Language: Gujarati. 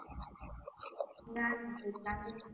ના ના કોઈ પ્લાનિંગ નથી.